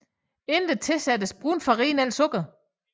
Endeligt tilsættes brun farin eller sukker